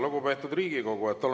Lugupeetud Riigikogu!